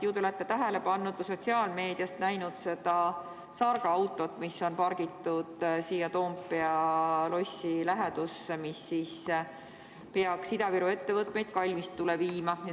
Ju te olete tähele pannud ja sotsiaalmeediast näinud seda sargaautot, mis on pargitud siia Toompea lossi lähedusse, mis peaks Ida-Viru ettevõtteid kalmistule viima.